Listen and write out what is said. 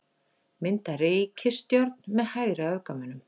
Mynda ríkisstjórn með hægri öfgamönnum